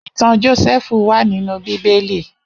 Itàn Jósèfú wà ninú Bibéli